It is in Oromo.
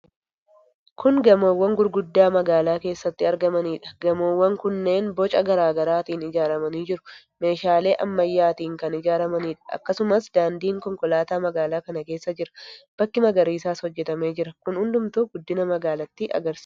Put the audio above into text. Kun gamoowwan guguddaa magaalaa keessatti argamaniidha. Gamoowwan kunneen boca garaa garaatiin ijaaramanii jiru. Meeshaalee ammayyaatiin kan ijaaramaniidha. Akkasumas daandiin konkolaataa magaalaa kana keessa jira. Bakki magariisaas hojjetamee jira. Kunneen hundumtuu guddina magaalattii agarsiisa.